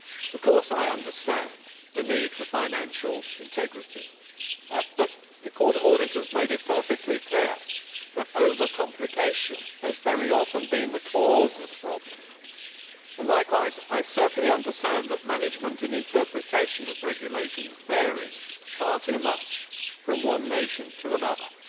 Of course I understand the need for financial integrity, but the Court of Auditors made it perfectly clear that over complication has very often been the cause of the problem, and likewise I certainly understand that management and interpretation of regulations varies far too much from one nation to another.